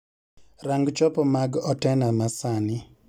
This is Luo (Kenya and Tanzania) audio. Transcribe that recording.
Rang chopo mag otena masani